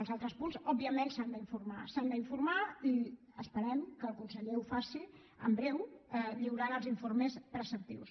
els altres punts òbviament s’han d’informar s’han d’informar i esperem que el conseller ho faci en breu lliurant els informes preceptius